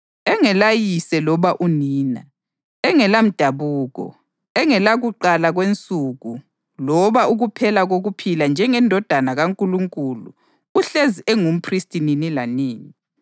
Engelayise loba unina, engelamdabuko, engelakuqala kwensuku loba ukuphela kokuphila njengeNdodana kaNkulunkulu uhlezi engumphristi nini lanini.